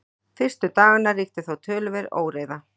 fyrstu daganna ríkti þó töluverð óreiða